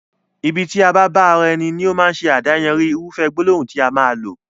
Ibi tí a bá bá ara ẹni, ní ó máa ṣe adáyanri irúfẹ́ gbólóhùn tí a máa lò